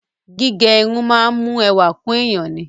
Gígẹ irun máa ń mú ẹwà kún èèyàn ni.